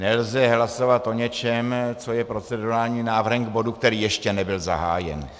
Nelze hlasovat o něčem, co je procedurálním návrhem k bodu, který ještě nebyl zahájen.